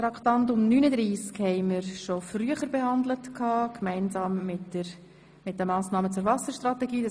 Traktandum 39 haben wir bereits gemeinsam mit den Massnahmen zur Wasserstrategie behandelt.